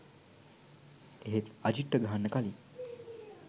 එහෙත් අජිත්ට ගහන්න කළින්